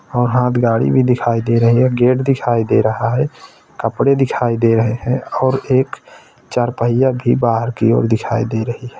और हाथ गाड़ी भी दिखाई दे रही है गेट दिखाई दे रहा है कपड़े दिखाई दे रहे है और एक चारपहिया भी बाहर की ओर दिखाई दे रही है।